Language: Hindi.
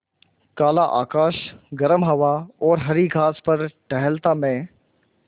काला आकाश गर्म हवा और हरी घास पर टहलता मैं